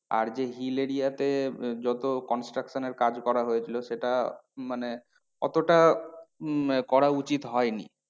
আর যে hill area তে যত construction এর কাজ করা হয়েছিল সেটা মানে অতটা উম করা উচিত হয়নি।